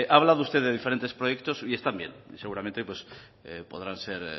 ha hablado usted de diferente proyectos y están bien seguramente podrán ser